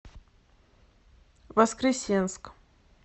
воскресенск